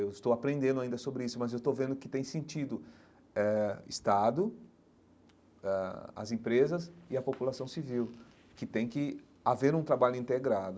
Eu estou aprendendo ainda sobre isso, mas eu estou vendo que tem sentido eh Estado, ãh as empresas e a população civil, que tem que haver um trabalho integrado.